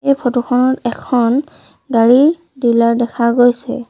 এই ফটো খনত এখন গাড়ী ডিলাৰ দেখা গৈছে।